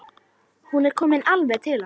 Hún er komin alveg til hans.